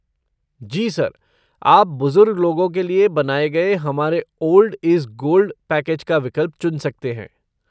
जी sir, आप बुज़ुर्ग लोगों के लिए बनाए गए हमारे 'ओल्ड इज़ गोल्ड' पैकेज का विकल्प चुन सकते हैं।